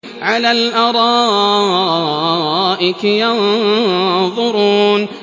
عَلَى الْأَرَائِكِ يَنظُرُونَ